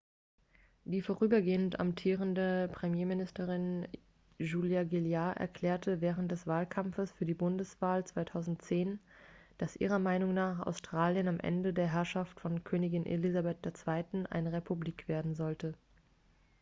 die vorübergehend amtierende premierministerin julia gillard erklärte während des wahlkampfes für die bundeswahl 2010 dass ihrer meinung nach australien am ende der herrschaft von königin elizabeth ii eine republik werden sollte